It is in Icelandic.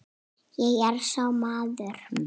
Ég er sá maður.